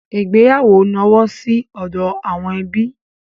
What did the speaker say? Ìgbéyàwó nọwọ́ sí ọdọ àwọn ẹbí.